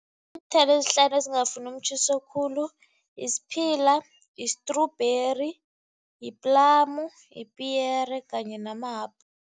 ezihlanu ezingafuni umtjhiso khulu isphila, yistrubheri, yiplamu, yipiyere kanye